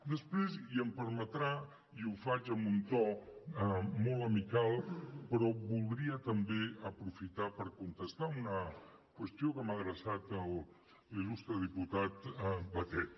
després i m’ho permetrà i ho faig amb un to molt amical però voldria també aprofitar per contestar una qüestió que m’ha adreçat l’il·lustre diputat batet